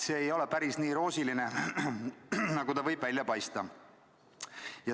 See ei ole päris nii roosiline, nagu see võib välja paista.